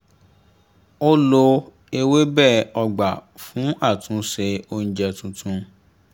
ó lo ewébẹ̀ ọgbà fún àtúnṣe oúnjẹ tuntun